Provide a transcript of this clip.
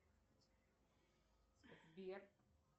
сбер